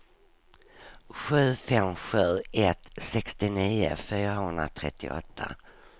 sju fem sju ett sextionio fyrahundratrettioåtta